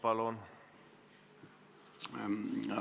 Mikrofon!